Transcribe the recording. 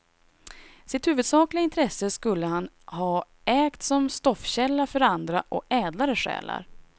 Sitt huvudsakliga intresse skulle han ha ägt som stoffkälla för andra och ädlare själar.